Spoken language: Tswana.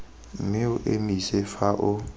mme o emise fa o